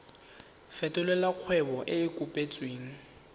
fetolela kgwebo e e kopetswengcc